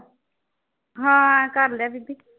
ਹਾਂ ਕਰ ਲਿਆ ਬੀਬੀ।